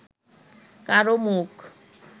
কারও মুখ